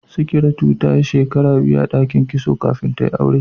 sikiratu tayi shekara biyu a dakin kitso kafin tayi aure